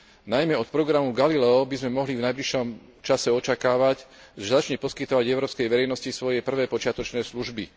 Najmä od programu Galileo by sme mohli v najbližšom čase očakávať, že začne poskytovať európskej verejnosti svoje prvé počiatočné služby.